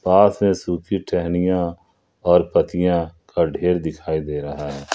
पास में सूखी टहनियां और पत्तियां का ढ़ेर दिखाई दे रहा है।